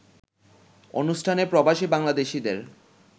অনুষ্ঠানে প্রবাসী বাংলাদেশিদের